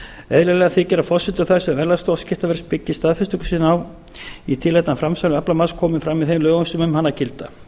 eðlilegra þykir að forsendur þær sem verðlagsstofa skiptaverðs byggir staðfestingu sína á í tilefni af framsali aflamarks komi fram í þeim lögum sem um hana gilda